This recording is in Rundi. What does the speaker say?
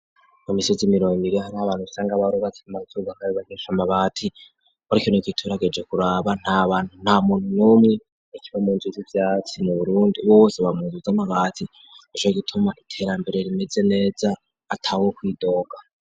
Imisozi imiron iri hari abantu isanga abarugatsi mazuga nabe banisha mabati ortyo nik ituragije kuraba abanta muntu numwe ikiba munjizi ibyatsi nu burundi bubosoba mzu z'amabati ejo gituma iterambere rimeze neza atawo kwidoga.